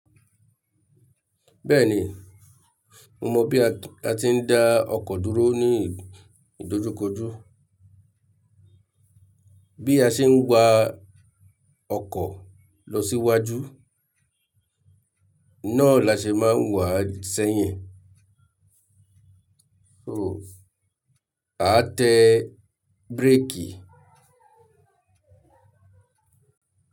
Bẹ́ẹ̀ni, mo mọ bí a ti ń da ọkọ̀ dúró ní ìdojúkojú. Bí a ṣe ń wa ọkọ̀ lọ síwájú, náà la ṣe máa ń wà sẹ́yìn. So a tẹ bírékì.